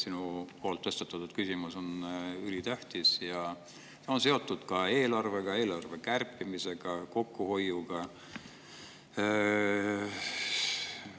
Sinu tõstatatud küsimus on ülitähtis ja seotud ka eelarvega, eelarve kärpimise ja kokkuhoiuga.